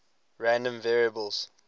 random variables